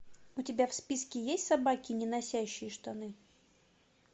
у тебя в списке есть собаки не носящие штаны